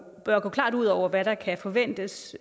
ud over hvad der kan forventes